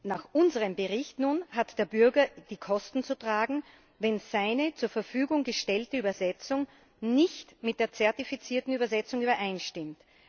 Nach unserem Bericht nun hat der Bürger die Kosten zu tragen, wenn seine zur Verfügung gestellte Übersetzung nicht mit der zertifizierten Übersetzung übereinstimmt.